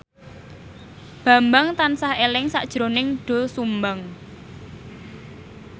Bambang tansah eling sakjroning Doel Sumbang